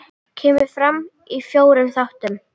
Kemur fram í fjórum þáttum.